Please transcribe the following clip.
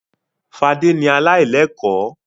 Fadé ni aláìlẹ́kọ̀ọ́.